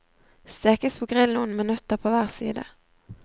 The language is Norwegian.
Stekes på grill noen minutter på hver side.